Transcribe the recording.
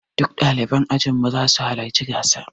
Duk ɗaliban ajin mu za su halarci gasar.